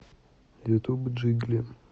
ютуб джигли